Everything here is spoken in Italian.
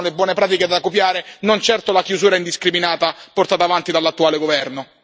Queste sono le buone pratiche da copiare, non certo la chiusura indiscriminata portata avanti dall'attuale governo.